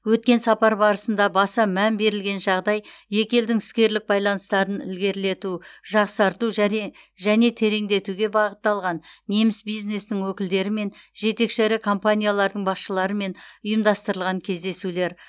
өткен сапар барысында баса мән берілген жағдай екі елдің іскерлік байланыстарын ілгерілету жақсарту жәре және тереңдетуге бағытталған неміс бизнесінің өкілдерімен жетекші ірі компаниялардың басшыларымен ұйымдастырылған кездесулер